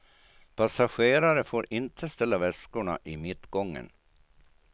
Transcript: Passagerare får inte ställa väskorna i mittgången.